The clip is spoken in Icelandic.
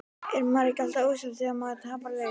Er maður ekki alltaf ósáttur þegar maður tapar leik?